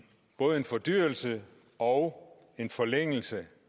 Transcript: fordyrelse og en forlængelse